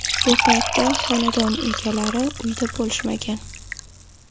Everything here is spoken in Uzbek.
Bu paytda xonadon egalari uyda bo‘lishmagan.